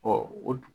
o